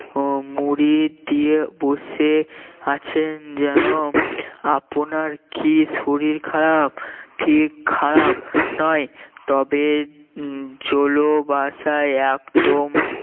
হম মুড়ি দিয়ে বসে আছেন যেন আপনার কি শরীর খারাপ ঠিক খারাপ নয় তবে উম জলো বাসায় একদম